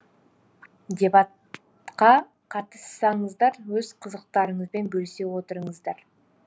дебаттқа қатыссаңыздар өз қызықтарыңызбен бөлісе отырыңыздар